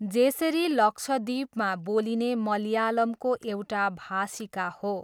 जेसेरी लक्षद्वीपमा बोलिने मलयालमको एउटा भाषिका हो।